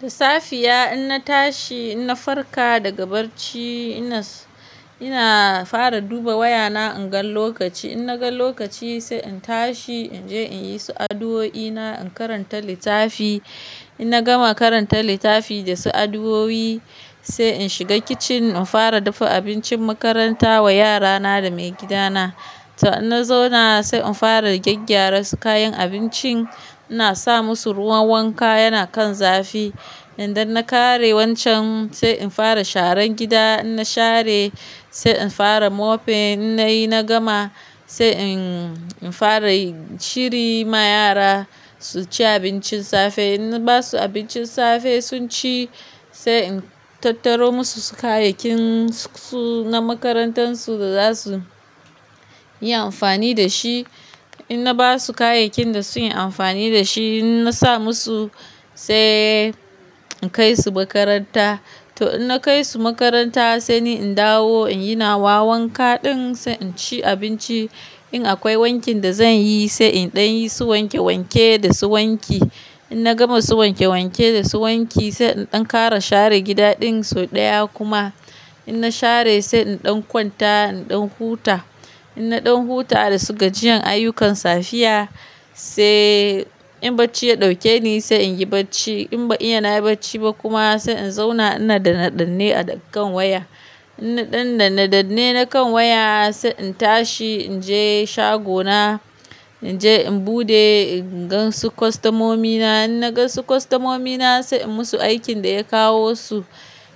Da safiya in na tashi, in na farka daga barci ina, ina fara duba wayana in gan lokaci. In na gan lokaci sai in tashi in je in yi su addu'o'i na, in karanta littafi. In na gama karanta littafi da su addu'o'i sai in shiga kicin in fara dafa abincin makaranta wa yara na da mai gida na. To in na zauna sai in fara gyaggyara su kayan abincin, ina sa musu ruwan wanka yana kan zafi. Idan na kare wancan sai in fara sharan gida. In na share sai in fara mofin. In na yi na gama sai in, in fara shiri ma yara su ci abincin safe. In na ba su abincin safe sun ci sai in tattaro musu su kayayyakin su na makarantan su da za su yi amfani da shi. In na ba su kayayyakin da su yi amfani da shi, in na sa musu sai in kai su makaranta. To in na kai su makaranta sai ni in dawo in yi na wa wanka ɗin sai in ci abinci. In akwai wankin da zan yi sai in ɗan yi su wanke wanke da su wanki. In na gama su wanke wanke da su wanki sai in ɗan kara share gida ɗin sau ɗaya kuma. In na share sai in ɗan kwanta in ɗan huta. In na ɗan huta da su gajiyan ayyukan safiya sai in barci ya ɗauke ni sai in yi bacci. In ban iya na yi bacci ba kuma sai in zauna ina da nadanne a kan waya. In na ɗan da nadanne na kan waya sai in tashi in je shagona, in je in buɗe in gan su kostamomi na. In na gan su kostamomi na sai in musu aikin da ya kawo su.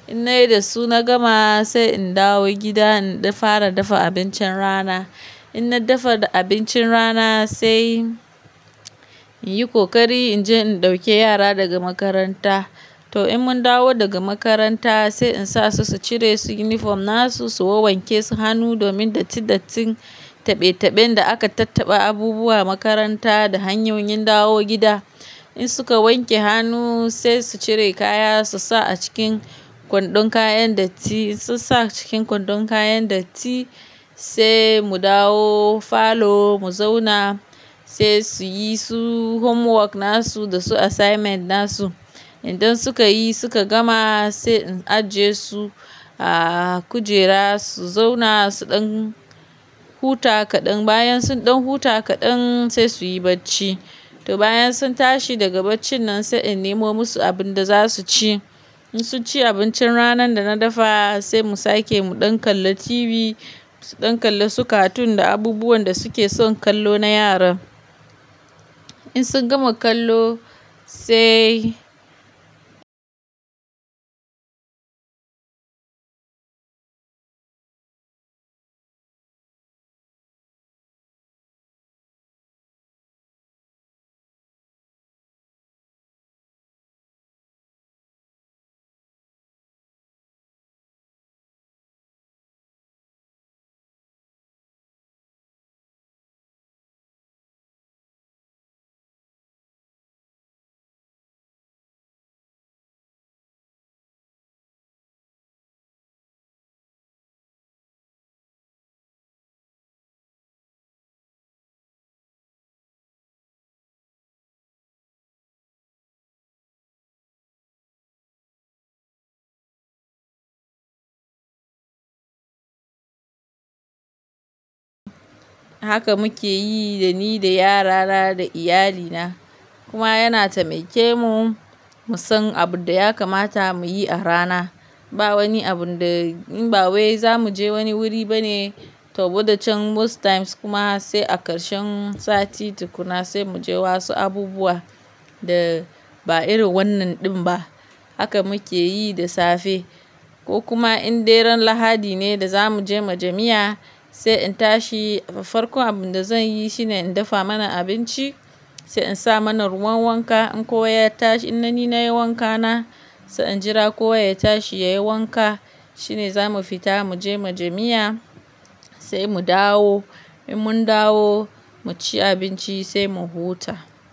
In na yi da su na gama sai in dawo gida in fara dafa abincin rana. In na dafa da abincin rana sai in yi kokari in je in ɗauki yara daga makaranta. To in mun dawo daga makaranta sai in sa su, su cire su yunifom na su, su wowanke su hannu domin dattin dattin taɓe taɓen da aka tattaba abubuwa makaranta da hanyoyin dawo gida. In suka wanke hannu sai su cire kaya su sa a cikin kwandon kayan datti. Su sa cikin kwandon kayan datti sai mu dawo falo mu zauna sai su yi su homework na su da su assignment na su. Inan suka yi suka gama sai in ajiye su a kujera su zauna su ɗan huta kaɗan. Bayan sun ɗan huta kaɗan sai su yi bacci. To bayan sun tashi daga baccin nan sai in nemo musu abin da za su ci. In sun ci abincin ranan da na dafa sai mu sake mu ɗan kalla TV, su ɗan kalla su cartoon da abubuwan da su ke son kallo na yara. In sun gama kallo sai haka muke yi da ni da yara na da iyali na. Kuma yana taimake mu mu san abun da ya kamata mu yi a rana. Ba wani abun da in ba wai za mu je wani wuri bane, to wadan can can must times kuma sai a karshen sati tukuna sai mu je wasu abubuwa da ba irin wannan ɗin ba. Haka muke yi da safe ko kuma in deran Lahadi ne da za mu je majami'a sai in tashi. Farkon abun da zan yi shine in dafa mana abinci, sai in sa mana ruwan wanka. In kowa ya tashi in na ni na yi wanka na sai in jira kowa ya tashi ya yi wanka shine za mu fita mu je majami'a sai mu dawo. In mun dawo mu ci abinci sai mu huta.